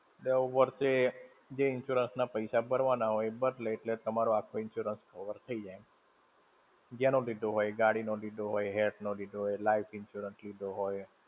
દર વર્ષે, જે insurance ના પૈસા ભરવાના હોય, એ ભાર લેય એટલે તમારો આખો insurance cover થઇ જાય. જેનો લીધો હોય. ગાડી નો લીધો હોય, health નો લીધો હોય, life insurance લીધો હોય.